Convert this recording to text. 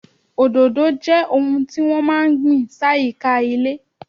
Òdòdó jẹ́ ohun tí wọ́n máa ń gbìn sáyìíká ilé.